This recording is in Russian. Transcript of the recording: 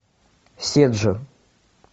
седжо